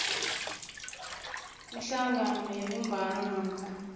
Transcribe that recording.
ihlangano yebumbano namkha